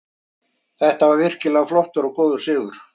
Þetta var virkilega flottur og góður sigur.